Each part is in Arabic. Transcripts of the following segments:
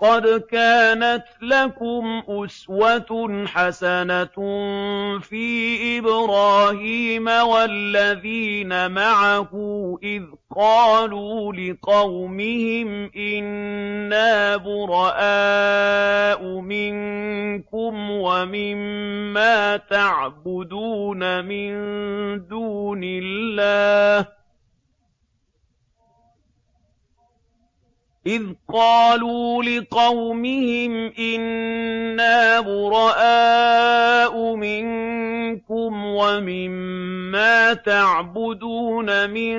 قَدْ كَانَتْ لَكُمْ أُسْوَةٌ حَسَنَةٌ فِي إِبْرَاهِيمَ وَالَّذِينَ مَعَهُ إِذْ قَالُوا لِقَوْمِهِمْ إِنَّا بُرَآءُ مِنكُمْ وَمِمَّا تَعْبُدُونَ مِن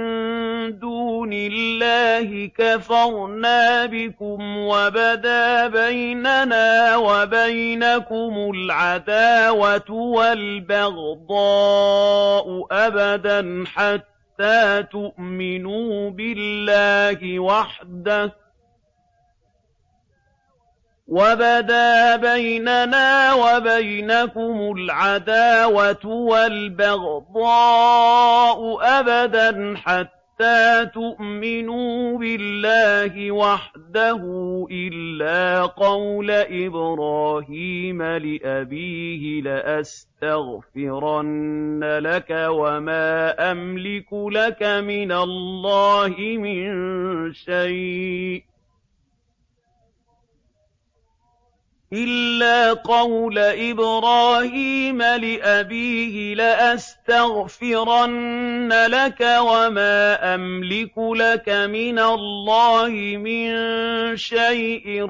دُونِ اللَّهِ كَفَرْنَا بِكُمْ وَبَدَا بَيْنَنَا وَبَيْنَكُمُ الْعَدَاوَةُ وَالْبَغْضَاءُ أَبَدًا حَتَّىٰ تُؤْمِنُوا بِاللَّهِ وَحْدَهُ إِلَّا قَوْلَ إِبْرَاهِيمَ لِأَبِيهِ لَأَسْتَغْفِرَنَّ لَكَ وَمَا أَمْلِكُ لَكَ مِنَ اللَّهِ مِن شَيْءٍ ۖ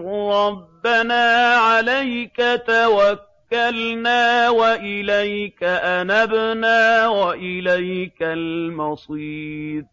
رَّبَّنَا عَلَيْكَ تَوَكَّلْنَا وَإِلَيْكَ أَنَبْنَا وَإِلَيْكَ الْمَصِيرُ